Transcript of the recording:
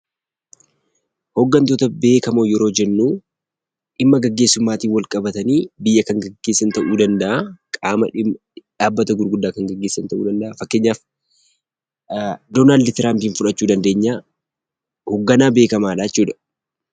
Hooggantoota beekamoo yeroo jennuu dhimma geggeessummaatiin walqabatanii biyya kan geggeessan ta'uu danda'aa qaama dhaabbata gurguddaa kan geggeessan ta'uu danda'aa. Fakkeenyaaf Donaaldi Tiraampiin fudhachuu dandeenyaa. Hoogganaa beekamaadhaa jechuudha.